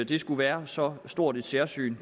det skulle være så stort et særsyn